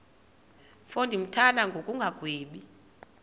mfo ndimthanda ngokungagwebi